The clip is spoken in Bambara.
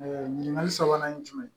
ɲininkali sabanan ye jumɛn ye